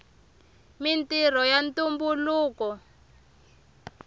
mintrho ya tumbuluka